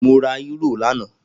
Mo ra Euro lana